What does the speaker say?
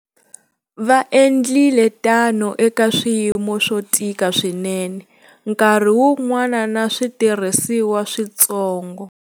Va endlile tano eka swiyimo swo tika swinene, nkarhi wun'wana na switirhisiwa swintsongo.